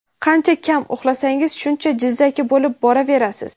Qancha kam uxlasangiz shuncha jizzaki bo‘lib boraverasiz.